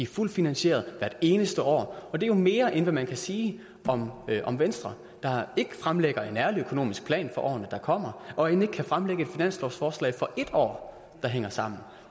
fuldt finansieret hvert eneste år og det er jo mere end hvad man kan sige om om venstre der ikke fremlægger en ærlig økonomisk plan for årene der kommer og end ikke kan fremlægge et finanslovsforslag for et år der hænger sammen